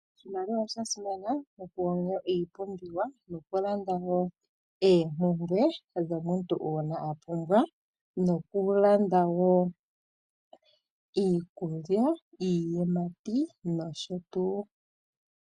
Oshimaliwa osha simana okulanda iipumbiwa nokulanda wo oompumbwe dhomuntu uuna edhi pumbwa nokulanda wo iikulya, iiyimati noshotuu.